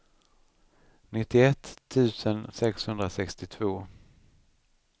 nittioett tusen sexhundrasextiotvå